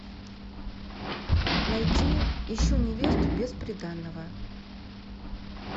найти ищу невесту без приданного